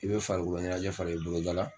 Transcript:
I bɛ farikolo ɲɛnajɛ fara i bolo dala.